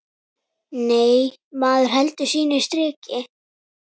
Nei, maður heldur sínu striki.